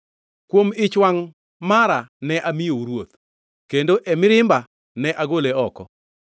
Kuom ich wangʼ mare ne amiyou ruoth kendo e mirimba ne agole oko.